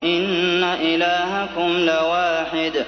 إِنَّ إِلَٰهَكُمْ لَوَاحِدٌ